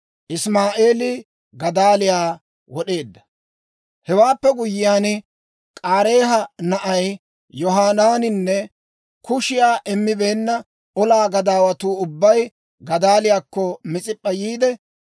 Hewaappe guyyiyaan, K'aareeha na'ay Yohanaaninne kushiyaa immibeenna olaa gadaawatuu ubbay Gadaaliyaakko Mis'ip'p'a yiide,